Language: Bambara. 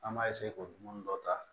An b'a k'o dumuni dɔ ta